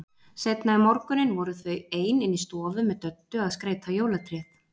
Seinna um morguninn voru þau ein inni í stofu með Döddu að skreyta jólatréð.